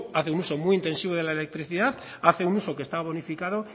hacen uso muy intensivo de electricidad hacen uso que esta bonificado